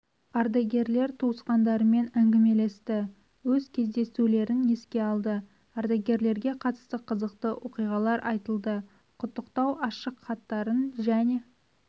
ардагерлер туысқандарымен әңгімелесті өз кездесулерін еске алды ардагерлерге қатысты қызықты оқиғалар айтылды құттықтау ашықхаттарын және